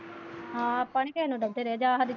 ਹਾਂ ਆਪਾਂ ਨਹੀਂ ਕਿਸੇ ਨੂੰ ਰਹੇ।